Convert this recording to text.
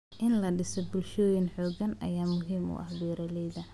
In la dhiso bulshooyin xooggan ayaa muhiim u ah beeralayda.